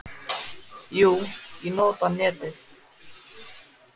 Jú, ég nota netið.